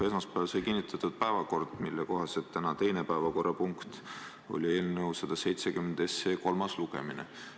Esmaspäeval sai kinnitatud päevakord, mille kohaselt oli tänane teine päevakorrapunkt eelnõu 170 kolmas lugemine.